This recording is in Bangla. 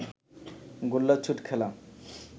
গোল্লাছুট খেলা